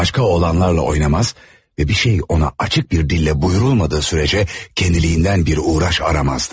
Başka oğlanlarla oynamaz ve bir şey ona açık bir dille buyrulmadığı sürece kendiliğinden bir uğraş aramazdı.